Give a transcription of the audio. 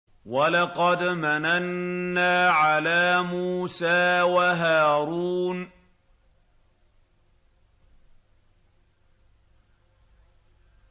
وَلَقَدْ مَنَنَّا عَلَىٰ مُوسَىٰ وَهَارُونَ